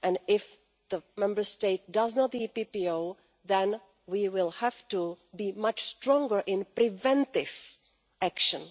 body. If a Member State does not have the EPPO then we will have to be much stronger in preventive action.